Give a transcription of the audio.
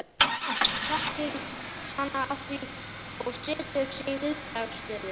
Hann þekkir hana að því og setur sig í viðbragðsstöðu.